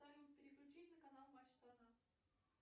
салют переключить на канал матч страна